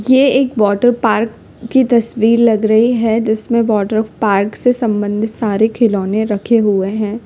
ये एक वाटरपार्क की तस्वीर लग रही है जिसमें वाटरपार्क से संबंधित सारे खिलौने रखे हुए हैं।